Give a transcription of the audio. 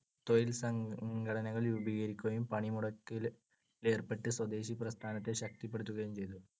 തൊഴിൽസംഘടനകൾ രൂപീകരിക്കുകയും പണിമുടക്കിലേർപ്പെട്ടു സ്വദേശി പ്രസ്ഥാനത്തെ ശക്തിപ്പെടുത്തുകയും ചെയ്തു.